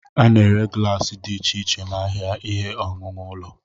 A na-ere glaasị dị iche iche n'ahịa ihe owuwu ụlọ.